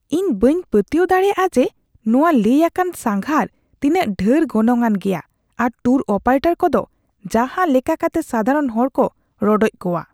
ᱤᱧ ᱵᱟᱹᱧ ᱯᱟᱹᱛᱭᱟᱹᱣ ᱫᱟᱲᱮᱭᱟᱜᱼᱟ ᱡᱮ ᱱᱚᱶᱟ ᱞᱟᱹᱭ ᱟᱠᱟᱱ ᱥᱟᱸᱜᱷᱟᱨ ᱛᱤᱱᱟᱹᱜ ᱰᱷᱮᱨ ᱜᱚᱱᱚᱝᱼᱟᱱ ᱜᱮᱭᱟ ᱟᱨ ᱴᱩᱨ ᱚᱯᱟᱨᱮᱴᱚᱨ ᱠᱚᱫᱚ ᱡᱟᱦᱟ ᱞᱮᱠᱟ ᱠᱟᱛᱮᱜᱥᱟᱫᱷᱟᱨᱚᱱ ᱦᱚᱲᱠᱚ ᱨᱚᱰᱚᱪ ᱠᱚᱣᱟ ᱾